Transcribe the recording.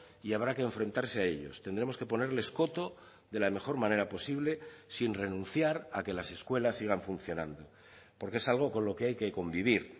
y habrá que enfrentarse a ellos tendremos que ponerles coto de la mejor manera posible sin renunciar a que las escuelas sigan funcionando porque es algo con lo que hay que convivir